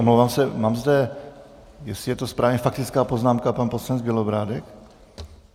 Omlouvám se, mám zde, jestli je to správně - faktická poznámka, pan poslanec Bělobrádek?